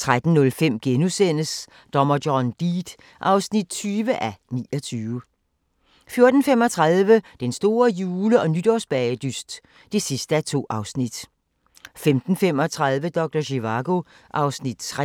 13:05: Dommer John Deed (20:29)* 14:35: Den store jule- og nytårsbagedyst (2:2) 15:35: Doktor Zivago (Afs. 3)